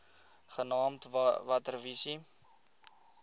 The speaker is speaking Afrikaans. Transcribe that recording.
genaamd water wise